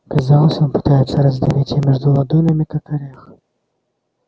казалось он пытается раздавить её между ладонями как орех